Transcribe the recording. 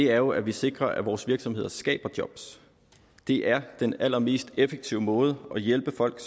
er jo at vi sikrer at vores virksomheder skaber job det er den allermest effektive måde at hjælpe folk